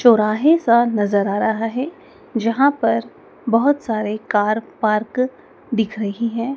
चौराहे का नजर आ रहा है जहां पर बहोत सारे कार पार्क दिख रही हैं।